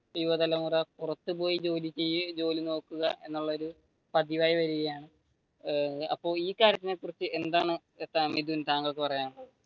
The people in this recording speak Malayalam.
യുവതലമുറ പുറത്തുപോയി ജോലി ചെയ്യും ജോലി നോക്കും എന്നുള്ള ഒരു പതിവായി വരുകയാണ്. അപ്പൊ ഈ കാര്യത്തിനെ കുറിച്ച് എന്താണ് താങ്കൾക്ക് പറയാനുളളത്?